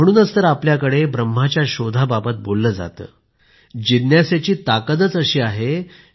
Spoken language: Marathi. म्हणूनच तर आपल्याकडे ब्रह्माच्या शोधाबाबत बोलले जातं जिज्ञासेची ताकदच अशी आहे